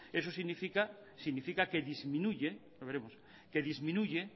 eso significa significa que disminuye los veremos que disminuye